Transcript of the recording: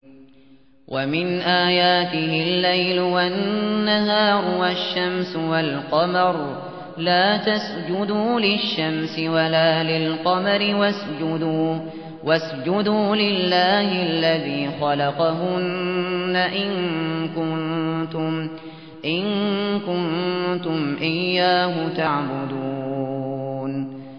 وَمِنْ آيَاتِهِ اللَّيْلُ وَالنَّهَارُ وَالشَّمْسُ وَالْقَمَرُ ۚ لَا تَسْجُدُوا لِلشَّمْسِ وَلَا لِلْقَمَرِ وَاسْجُدُوا لِلَّهِ الَّذِي خَلَقَهُنَّ إِن كُنتُمْ إِيَّاهُ تَعْبُدُونَ